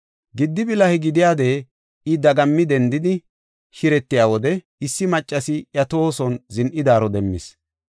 Giddi bilahe gidiyade I dagami dendidi shiretiya wode, issi maccasi iya tohoson zin7idaaro demmis.